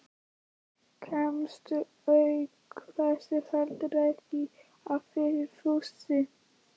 Kemst auk þess heldur ekki að fyrir fussi